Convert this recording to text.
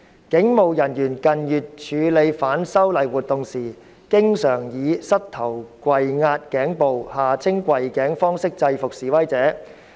警務人員近月處理反修例活動時，經常以膝頭跪壓頸部方式制服示威者。